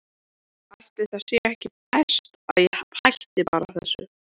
Ætli það sé ekki best að ég hætti þessu bara.